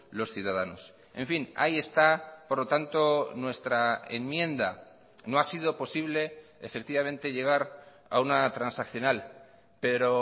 los ciudadanos en fin ahí está por lo tanto nuestra enmienda no ha sido posible efectivamente llegar a una transaccional pero